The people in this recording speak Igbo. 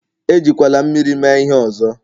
Ejikwala mmiri mee ihe ọzọ!